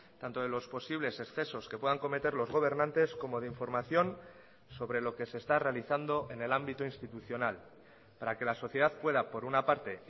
tanto de los posibles excesos que puedan cometer los gobernantes como de información sobre lo que se está realizando en el ámbito institucional para que la sociedad pueda por una parte